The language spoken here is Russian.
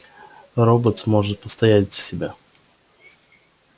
роботс может постоять за себя